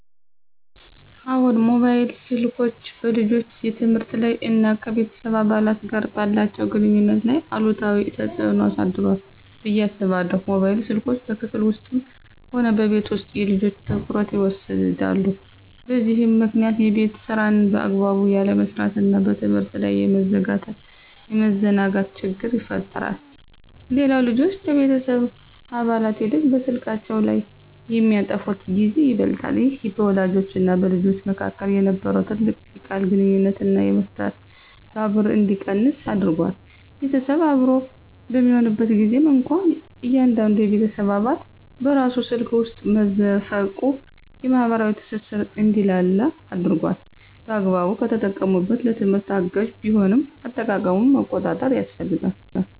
አዎን፣ ሞባይል ስልኮች በልጆች የትምህርት ላይ እና ከቤተሰብ አባላት ጋር ባላቸው ግንኙነት ላይ አሉታዊ ተጽዕኖ አሳድሯል ብዬ አስባለሁ። ሞባይል ስልኮች በክፍል ውስጥም ሆነ በቤት ውስጥ የልጆችን ትኩረት ይወስዳሉ፤ በዚህም ምክንያት የቤት ሥራን በአግባቡ ያለመስራትና በትምህርት ላይ የመዘናጋት ችግር ይፈጠራል። ሌላው ልጆች ከቤተሰብ አባላት ይልቅ በስልካቸው ላይ የሚያጠፉት ጊዜ ይበልጣል። ይህ በወላጆችና በልጆች መካከል የነበረውን ጥልቅ የቃል ግንኙነትና መስተጋብር እንዲቀንስ አድርጓል። ቤተሰብ አብሮ በሚሆንበት ጊዜም እንኳ እያንዳንዱ የቤተሰብ አባል በራሱ ስልክ ውስጥ መዘፈቁ የማኅበራዊ ትስስር እንዲላላ አድርጓል። በአግባቡ ከተጠቀሙበት ለትምህርት አጋዥ ቢሆንም፣ አጠቃቀሙን መቆጣጠር ያስፈልጋል።